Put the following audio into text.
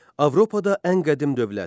Avropada ən qədim dövlət.